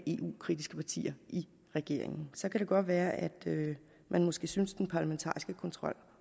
eu kritiske partier i regeringen så kunne det godt være at man måske syntes at den parlamentariske kontrol